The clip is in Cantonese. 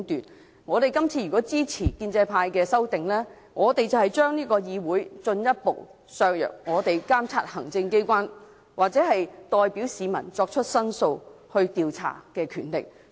如果我們今次支持建制派的修訂，便會進一步削弱我們這個議會監察行政機關，或代表市民作出申訴和調查的權力。